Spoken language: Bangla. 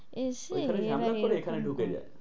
এসে, ওইখানে ঝামেলা করে এখানে ঢুকে যাই।